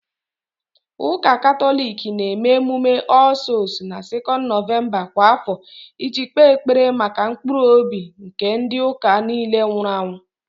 Ụka Katọlik na-eme emume "All Souls" na 2nd November kwa afọ iji kpe ekpere maka mkpụrụ obi nke ndị ụka nile nwụrụ anwụ